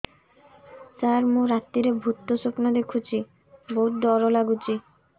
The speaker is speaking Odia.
ସାର ମୁ ରାତିରେ ଭୁତ ସ୍ୱପ୍ନ ଦେଖୁଚି ବହୁତ ଡର ଲାଗୁଚି